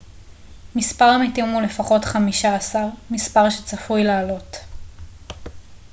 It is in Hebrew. מספר המתים הוא לפחות 15 מספר שצפוי לעלות